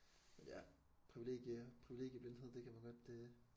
Ja privilegium privilegieblindhed det kan man godt øh